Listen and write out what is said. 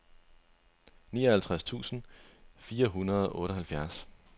nioghalvtreds tusind fire hundrede og otteoghalvfjerds